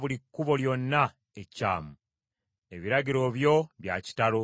Ebiragiro byo bya kitalo; kyenva mbigondera.